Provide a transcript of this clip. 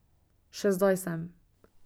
Še zdaj sem.